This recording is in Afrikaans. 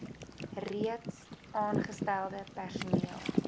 reeds aangestelde personeel